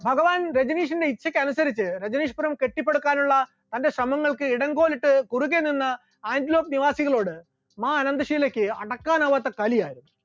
ഭഗവാൻ രജനീഷിന്റെ ഇച്ഛക്ക് അനുസരിച്ച് രജനീഷ്‌പുരം കെട്ടിപ്പടുക്കാനുള്ള തന്റെ ശ്രമങ്ങൾക്ക് ഇടംകൊൽ ഇട്ട് കുറുകെ നിന്ന് ആന്റിലോക് നിവാസികളോട് മാ അനന്തശീലക്ക് അടക്കാനാവാത്ത കലിയായി.